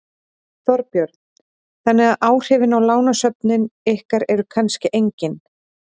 Þorbjörn: Þannig að áhrifin á lánasöfnin ykkar eru kannski engin?